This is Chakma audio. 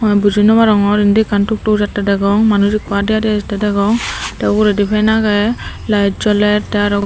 gomey buji nopangor indi ekkan tuktuk jatte degong manuj ekko adiadi ejette degong te uguredi fan agey layet joler te aro.